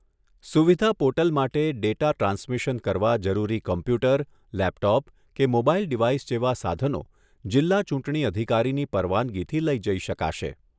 સુવિધા પોર્ટલ માટે data transmission કરવા જરૂરી કોમ્પ્યુટર, લેપટોપ કે મોબાઇલ ડિવાઇસ જેવા સાધનો જિલ્લા ચૂંટણી અધિકારીની પરવાનગીથી લઈ જઈ શકાશે.